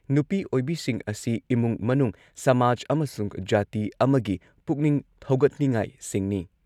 ꯅꯨꯄꯤ ꯑꯣꯏꯕꯤꯁꯤꯡ ꯑꯁꯤ ꯏꯃꯨꯡ ꯃꯅꯨꯡ, ꯁꯃꯥꯖ ꯑꯃꯁꯨꯡ ꯖꯥꯇꯤ ꯑꯃꯒꯤ ꯄꯨꯛꯅꯤꯡ ꯊꯧꯒꯠꯅꯤꯡꯉꯥꯏꯁꯤꯡꯅꯤ ꯫